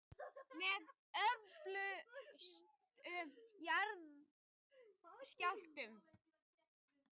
Með öflugustu jarðskjálftum